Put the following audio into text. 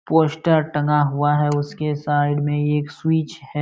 Poster टंगा हुआ है उसके साइड में एक स्विच है।